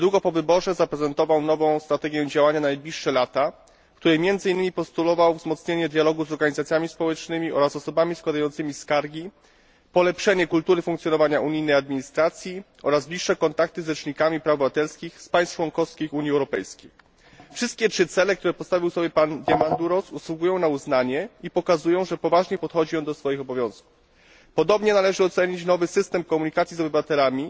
Niedługo po wyborze zaprezentował nową strategię działania na najbliższe lata, w której między innymi postulował wzmocnienie dialogu z organizacjami społecznymi oraz z osobami składającymi skargi, polepszenie kultury funkcjonowania unijnej administracji oraz bliższe kontakty z rzecznikami praw obywatelskich z państw członkowskich Unii Europejskiej. Wszystkie trzy cele, które pan Diamandouros sobie postawił, zasługują na uznanie i pokazują, że podchodzi on poważnie do swoich obowiązków. Podobnie należy ocenić nowy system komunikacji z obywatelami,